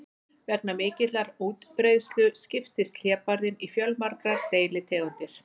Vegna mikillar útbreiðslu skiptist hlébarðinn í fjölmargar deilitegundir.